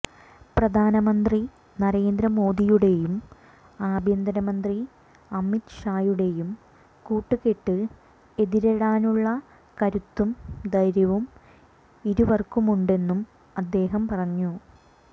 പ്രധാനമന്ത്രി നരേന്ദ്ര മോദിയുടെയും ആഭ്യന്തരമന്ത്രി അമിത് ഷായുടെയും കൂട്ടുകെട്ട് എതിരിടാനുള്ള കരുത്തും ധൈര്യവും ഇരുവര്ക്കുമുണ്ടെന്നും അദ്ദേഹം പറഞ്ഞു